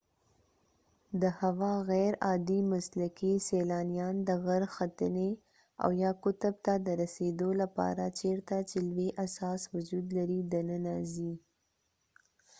د هوا غیر عادي مسلکي سیلانیان د غر ختنې او یا قطب ته د رسیدو لپاره چیرته چې لوی اساس وجود لري دننه ځي